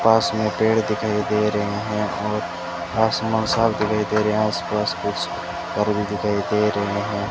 पास में पेड़ दिखाई दे रहे हैं और आसमान साफ दिखाई दे रहे हैं आसपास कुछ भी दिखाई दे रहे हैं।